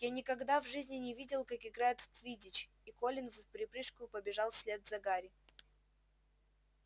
я никогда в жизни не видел как играют в квиддич и колин вприпрыжку побежал вслед за гарри